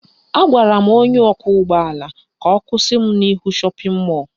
Agwara m ọkwọụgbọala ka ọ kwụsị m n'ihu shọpịn mọlụ